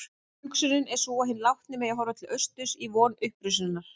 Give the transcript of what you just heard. Hugsunin er sú að hinn látni megi horfa til austurs í von upprisunnar.